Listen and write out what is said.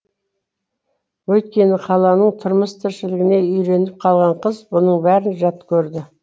өйткені қаланың тұрмыс тіршілігіне үйреніп қалған қыз бұның бәрін жат көрді